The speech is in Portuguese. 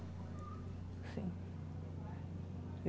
Assim.